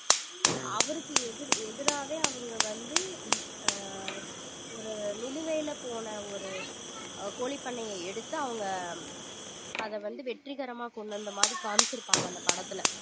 அவருக்கு எதிர்~ எதிராவே அவங்க வந்து ஆஹ் ஆஹ் நிலுவையில போன ஒரு அஹ் கோழிப்பண்ணைய எடுத்து அவங்க அதை வந்து வெற்றிகரமா கொண்டு வந்த மாதிரி காமிச்சிருப்பாங்க அந்த படத்துல